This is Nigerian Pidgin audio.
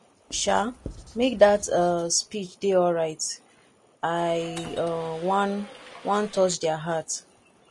um make dat um speech dey alright i um wan wan touch their heart